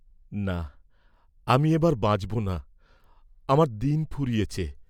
না, আমি এবার বাঁচব না, আমার দিন ফুরিয়েছে।